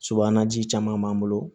Sobaji caman b'an bolo